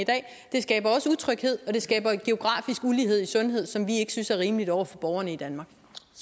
skaber utryghed og det skaber en geografisk ulighed i sundhed som vi ikke synes er rimelig over for borgerne i danmark